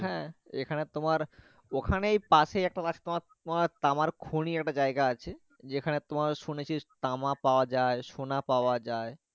হ্যাঁ এখানে তোমার ওখানে পাশে একটা রাস্তা আছে তামের খনি একটা জায়গা আছে যেখানে তোমার তামা পাওয়া যাই সোনা পাওয়া যাই।